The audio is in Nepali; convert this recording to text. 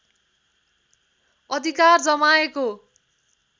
अधिकार जमाएको